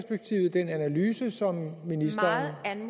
i den analyse som ministeren